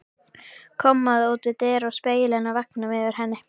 Kommóða út við dyr og spegillinn á veggnum yfir henni.